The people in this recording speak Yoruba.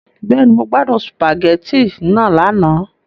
Bẹ́ẹ̀ni, Mo gbadun spaghetti naa lana